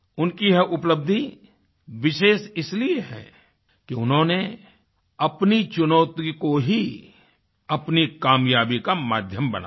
उनकी यह उपलब्धि विशेष इसलिए है कि उन्होंने अपनी चुनौती को ही अपनी कामयाबी का माध्यम बना दिया